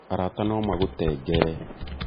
arata nomagũtengere